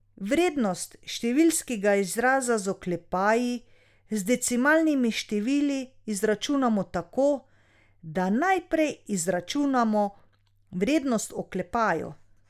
Vrednost številskega izraza z oklepaji z decimalnimi števili izračunamo tako, da najprej izračunamo vrednost v oklepaju.